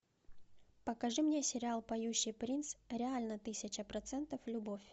покажи мне сериал поющий принц реально тысяча процентов любовь